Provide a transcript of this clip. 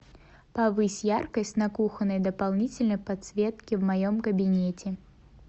повысь яркость на кухонной дополнительной подсветке в моем кабинете